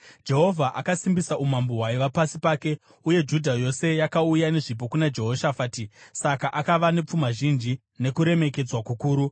Jehovha akasimbisa umambo hwaiva pasi pake; uye Judha yose yakauya nezvipo kuna Jehoshafati, saka akava nepfuma zhinji nokuremekedzwa kukuru.